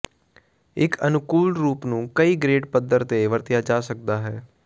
ਇੱਕ ਅਨੁਕੂਲ ਰੂਪ ਨੂੰ ਕਈ ਗ੍ਰੇਡ ਪੱਧਰ ਤੇ ਵਰਤਿਆ ਜਾ ਸਕਦਾ ਹੈ